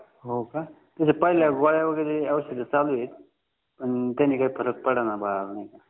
हो का तरी पहिल्या गोळ्या वगैरे औषध चालू आहेत पण त्याने काय फरक पडणा बाळाला